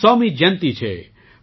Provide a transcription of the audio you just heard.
ની 100મી જયંતી છે